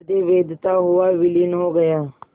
हृदय वेधता हुआ विलीन हो गया